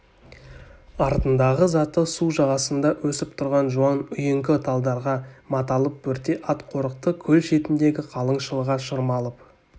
артындағы заты су жағасында өсіп тұрған жуан үйеңкі талдарға маталып бөрте ат қорықты көл шетіндегі қалың шылға шырмалып